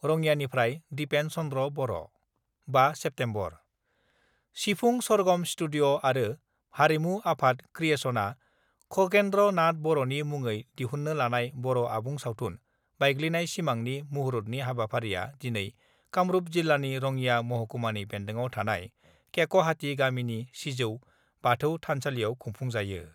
रङियानिफ्राय Dipen Chandra' Boro, 5 September : Sifung Sargam studio आरो हारिमु आफाद क्रियेसनआ खगेन्द्र नाथ बर'नि मुङै दिहुन्नो लानाय बर' आबुं सावथुन 'बायग्लिनाय सिमां' नि मुहुरतनि हाबाफारिया दिनै कामरुप जिल्लानि रङिया महकुमानि बेन्दोङाव थानाय केक'हाटी गामिनि सिजौ बाथौ थानसालियाव खुफुंजायो।